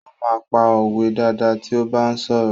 Ó máa ń pa òwe dáadáa tí ó bá ń sọ̀rọ̀.